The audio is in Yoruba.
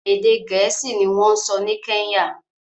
Èdè Gẹ̀ẹ́sì ni wọ́n ń sọ ní Kenya